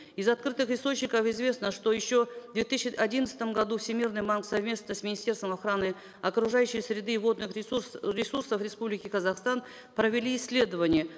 из открытых источников известно что еще в две тысячи одиннадцатом году всемирный совместно с министерством охраны окружающей среды и водных ресурсов республики казахстан провели исследовние